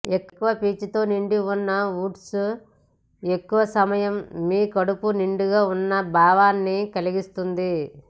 ఎక్కువ పీచుతో నిండి ఉన్న ఓట్స్ ఎక్కువ సమయం మీ కడుపు నిండుగా ఉన్న భావనని కలిగిస్తుంది